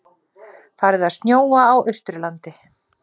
Farið að snjóa á Austurlandi